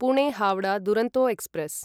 Pune Howrah Duronto express